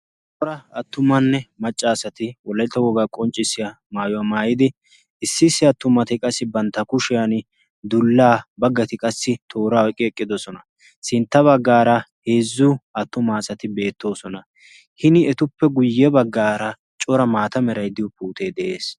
Cora attumanne maccaasati wollaitta wogaa qonccissiya maayuwaa maayidi issi issi attumati qassi bantta kushiyan dullaa baggati qassi toora eqqi eqqidosona. sintta baggaara heezzu attumaasati beettoosona hini etuppe guyye baggaara cora maata meraiddiyo piutee de'ees.